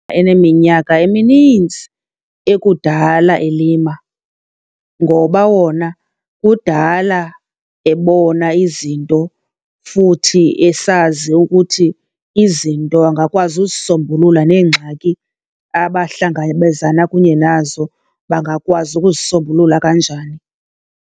Eneminyaka eminintsi ekudala elima ngoba wona kudala ebona izinto futhi esazi ukuthi izinto angakwazi uzisombulula neengxaki abahlangabezana kunye nazo bangakwazi ukuzisombulula kanjani.